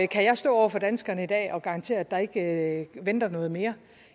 kan jeg stå over for danskerne i dag og garantere at der ikke venter noget mere